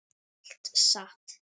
Allt satt.